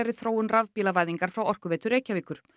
þróun frá Orkuveitu Reykjavíkur